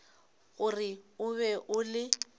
gore o be o le